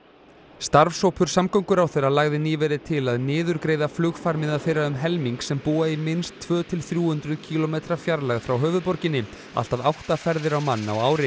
starfshópur samgönguráðherra lagði nýverið til að niðurgreiða flugfarmiða þeirra um helming sem búa í minnst tvö til þrjú hundruð kílómetra fjarlægð frá höfuðborginni allt að átta ferðir á mann á ári